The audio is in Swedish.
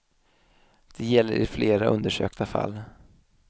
Det gäller i flera undersökta fall.